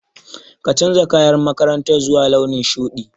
Ka canja kayan makarantar zuwa launin shuɗi.